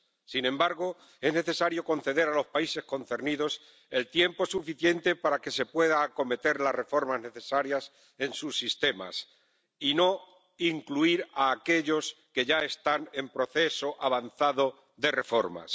Sin embargo, es necesario conceder a los países concernidos el tiempo suficiente para que se puedan acometer las reformas necesarias en sus sistemas y no incluir a aquellos que ya están en proceso avanzado de reformas.